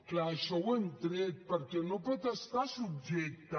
clar això ho hem tret perquè no pot estar subjecte